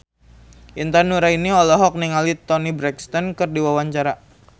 Intan Nuraini olohok ningali Toni Brexton keur diwawancara